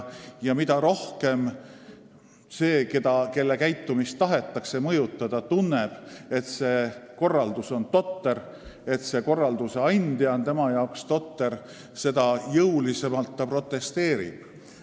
Ja mida rohkem see, kelle käitumist tahetakse mõjutada, tunneb, et asjakorraldus on totter, et korralduse andja on tema arvates totter, seda jõulisemalt ta protesteerib.